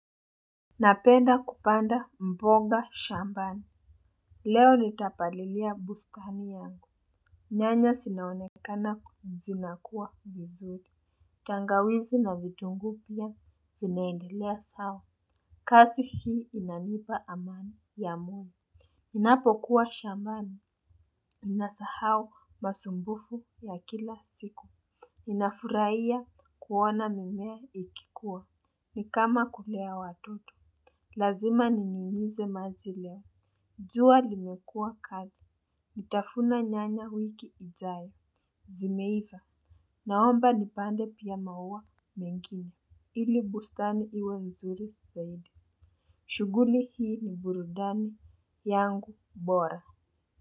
Napenda kupanda mboga shambani. Leo nitapalilia bustani yangu. Nyanya zinaonekana zi nakua vizuri. Tangawizi na vitunguu pia vinaendelea sawa. Kazi hii inanipa amani ya moyo ninapo kuwa shambani ni nasahau masumbufu ya kila siku ninafurahia kuona mimea ikikua. Nikama kulea watoto. Lazima ni nyunyize majileo jua limekua kali nitavuna nyanya wiki ijayo. Zimeiva. Naomba nipande pia maua mengine ili bustani iwe mzuri zaidi. Shughuli hii ni burudani yangu bora.